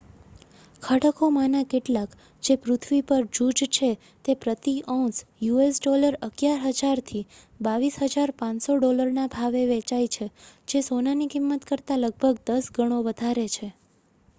ખડકોમાંના કેટલાક જે પૃથ્વી પર જૂજ છે તે પ્રતિ ઔંસ us$11,000થી $22,500ના ભાવે વેચાય છે જે સોનાની કિંમત કરતાં લગભગ દસ ગણો વધારે છે